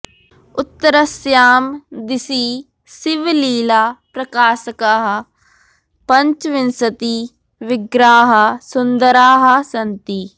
उत्तरस्यां दिशि शिवलीला प्रकाशकाः पञ्चविंशति विग्रहाः सुन्दराः सन्ति